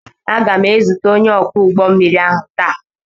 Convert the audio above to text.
Aga m ezute onye ọkwọ ụgbọ mmiri ahụ taa.